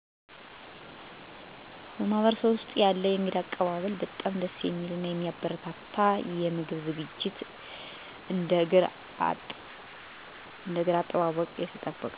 በማህበረሰቤ ውስጥ ያለው የእንግዳ አቀባብል በጣም ደስ የሚል እና የሚበረታታ ነው። የአቀባበል ስነ-ስርዓቱ በደስተኝነት፣ በሳቅ እና በፈገግታ ይጀምራል የተለየ የምግብ ዝግጅት የእግር አጠባ የ